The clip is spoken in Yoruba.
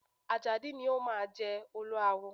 Àjàdí ni o máa jẹ Olúawo.